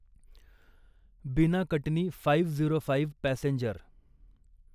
बिना Katni five zero five passenger